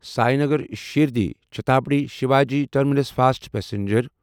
Sainagar Shirdi Chhatrapati Shivaji terminus fast passenger